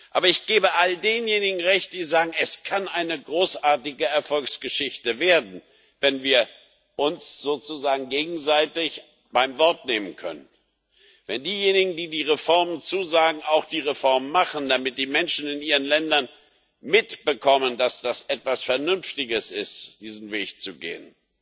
Aber ich gebe all denjenigen recht, die sagen Es kann eine großartige Erfolgsgeschichte werden, wenn wir uns sozusagen gegenseitig beim Wort nehmen können, wenn diejenigen, die die Reformen zusagen, auch die Reformen machen, damit die Menschen in ihren Ländern mitbekommen, dass es etwas Vernünftiges ist, diesen Weg zu gehen